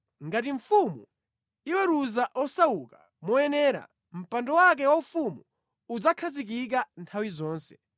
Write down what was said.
Ngati mfumu iweruza osauka moyenera, mpando wake waufumu udzakhazikika nthawi zonse.